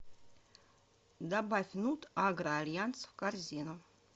добавь нут агро альянс в корзину